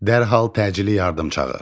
Dərhal təcili yardım çağır.